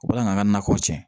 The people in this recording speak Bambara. U bɛ kila ka an ka nakɔw tiɲɛ